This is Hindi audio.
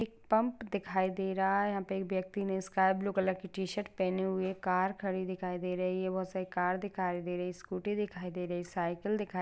एक पम्प दिखाई दे रहा है यहाँ पे एक व्यक्ति ने स्काइ ब्लू कलर की टीशर्ट पहनी हुई है कार खड़ी दिखाई दे रही है बहुत सारी कार दिखाई देरी स्कूटी दिखाई देरी साइकल दिखा--